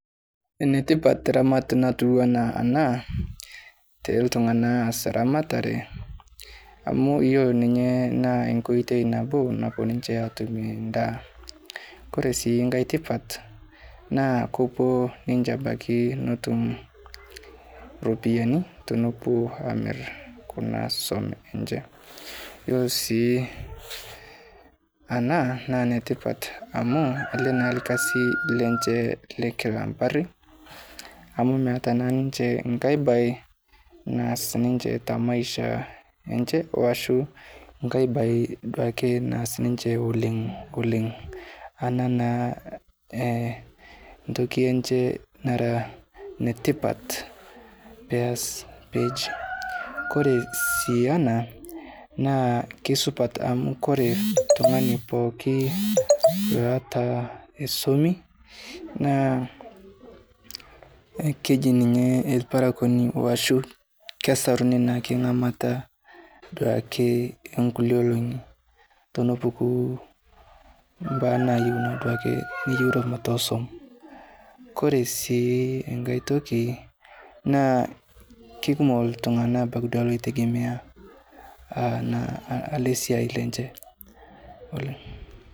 Enetipat ramat natuwana ana te ltung'ana oas ramatare, amu yuolo ninyee naa koitoi nabo ninche aatume ndaa, koree sii nkae tipat naa kupuo ninche abaki netum ropiyiani tenepuo amir kuna swom enche. Yuolo sii ana naa netipat amuu ale naa lkasi lenche lekila mpari amu meata na ninche nkae baye naas ninche temaisha enche oasho nkae baye naas ninche oleng' ana naa eh ntoki enche nara netipat peias peji. Kore sii ana naa keisupat amu kore ltung'ani pooki loata esomi naa keji ninye elparakoni oashu kesaruni naake ng'amata duake enkule elong'i tenepuku baa nayeuni duake niyeu naa duake bata eswom. Kore sii nkae toki naa keikumok ltung'ana abaki duake loitegemea ana ale siai lenche oleng'